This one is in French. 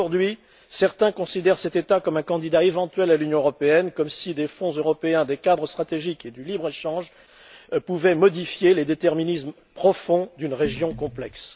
Aujourd'hui, certains considèrent cet État comme un candidat éventuel à l'Union européenne, comme si des fonds européens, des cadres stratégiques et le libre échange pouvaient modifier les déterminismes profonds d'une région complexe.